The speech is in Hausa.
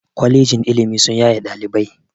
Kwalejin ilimi sun yaye ɗalibai